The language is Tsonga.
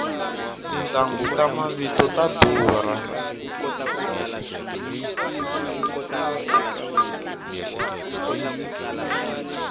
tintanghu ta mavito ta durha